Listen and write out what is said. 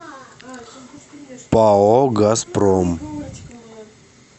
пао газпром